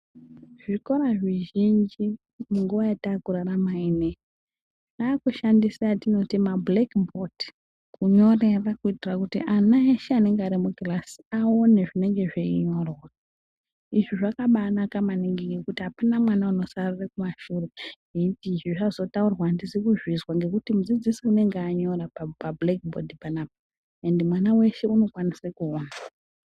Zvikora zvizhinji munguwa yatakurarama inei yakushandisa atinoti mabhodhi ekutima kunyorera kuitira kuti ana eshe anenge ari mukirasi aone zvinenge zveinyorwa. Izvi zvakabanaka maningi ngekuti apana mwana unosarira kumashure eiti izvi zvazotaurwa andisi kuzvizwa ngekuti mudzidzisi unenge anyora pabhodhi rekutima panapa, ende mwana weshe unokwanise kuona.